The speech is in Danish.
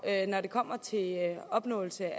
når det kommer til opnåelse